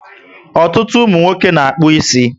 Ọtụtụ umunwoke na-akpu ísì